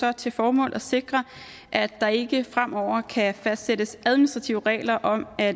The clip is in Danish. har til formål at sikre at der ikke fremover kan fastsættes administrative regler om at